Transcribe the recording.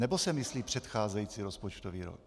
Nebo se myslí předcházející rozpočtový rok?